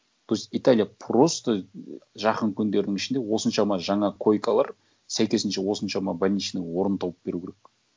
то есть италия просто жақын күндердің ішінде осыншама жаңа койкалар сәйкесінше осыншама больничный орын тауып беру керек